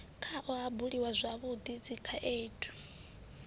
khao ha buliwa zwavhui dzikhaendu